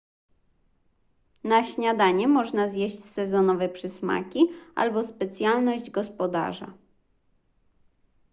na śniadanie można zjeść sezonowe przysmaki albo specjalność gospodarza